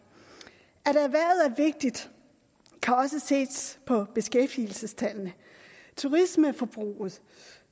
vigtigt kan også ses på beskæftigelsestallene turismeforbruget